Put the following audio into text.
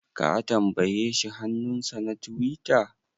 Ka tambaye shi hannunsa na tiwita?